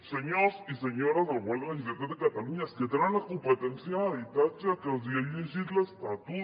senyors i senyores del govern de la generalitat de catalunya és que tenen la competència en habitatge que els he llegit l’estatut